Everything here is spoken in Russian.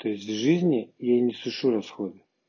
то есть в жизни я не сушу расходы